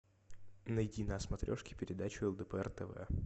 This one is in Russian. найди на смотрешке передачу лдпр тв